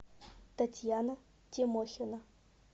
татьяна тимохина